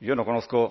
yo no conozco